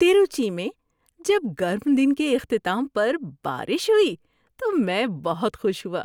تروچی میں جب گرم دن کے اختتام پر بارش ہوئی تو میں بہت خوش ہوا۔